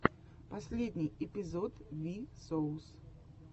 последний эпизод ви соус